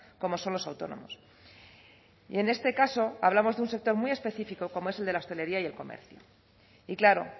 como son los autónomos y en este caso hablamos de un sector muy específico como es el de la hostelería y el comercio y claro